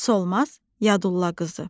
Solmaz Yadulla qızı.